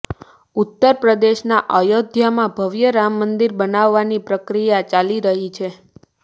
ઉત્તર પ્રદેશના અયોધ્યામાં ભવ્ય રામ મંદિર બનાવવાની પ્રક્રિયા ચાલી રહી છે